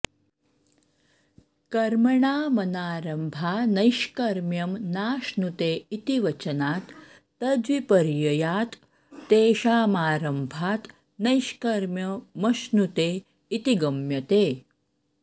कर्मणामनारम्भान्नैष्कर्म्यं नाश्नुते इति वचनात् तद्विपर्ययात् तेषामारम्भात् नैष्कर्म्यमश्नुते इति गम्यते